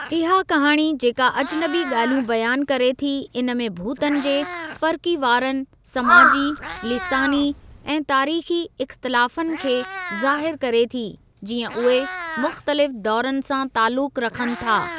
इहा कहाणी जेका अजनबी ॻाल्हियूं बयानु करे थी इन में भूतनि जे फ़रक़ीवारानह, समाजी, लिसानी ऐं तारीख़ी इख़तलाफ़न खे ज़ाहिरु करे थी जीअं उहे मुख़्तलिफ़ दौरनि सां तालुकु रखनि था।